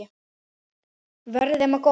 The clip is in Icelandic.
Verði þeim að góðu.